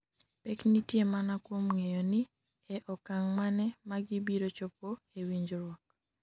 pek nitie mana kuom ng'eyo ni e okang' mane magibiro chopo e winjruok